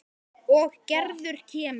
Og Gerður kemur.